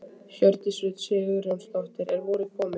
Hjördís Rut Sigurjónsdóttir: Er vorið komið?